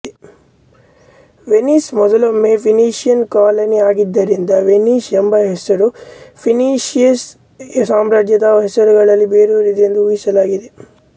Venice ಮೊದಲೊಮ್ಮೆ Phoenician colony ಆಗಿದ್ದರಿಂದ Venice ಎಂಬ ಹೆಸರು ಫೀನೀಷಿಯನ್ ಸಾಮ್ರಾಜ್ಯದ ಹೆಸರುಗಳಲ್ಲಿ ಬೇರೂರಿದೆ ಎಂದು ಊಹಿಸಲಾಗಿದೆ